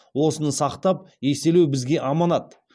осыны сақтап еселеу бізге аманат